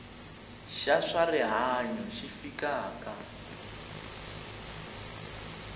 xa swa rihanyu xi fikaka